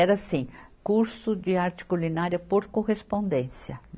Era assim, curso de arte culinária por correspondência.